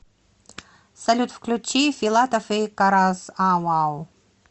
салют включи филатов и карас ау ау